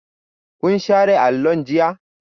Kun share allon jiya?